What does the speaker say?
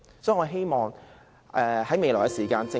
所以，我希望未來，......